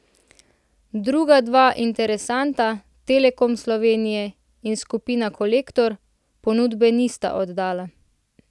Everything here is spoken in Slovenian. Druga dva interesenta, Telekom Slovenija in Skupina Kolektor, ponudbe nista oddala.